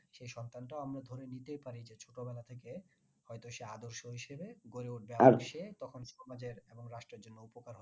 সেই সন্তানটাও আমরা ধরে নিতেই পারি ছোটবেলা থেকে হয়তো সে আদর্শ হিসাবে গড়ে উঠবে তখন তোমাদের এবং রাষ্ট্রের জন্য উপকার হবে